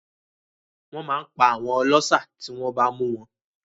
Wọ́n màá n pa àwọn ọlọ́ṣà tí wọ́n bá mú wọn